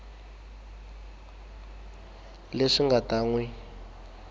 leswi nga ta n wi